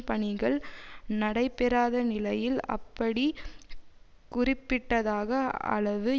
பணிகள் நடைபெறாத நிலையில் அப்படி குறிப்பிட்டதக அளவு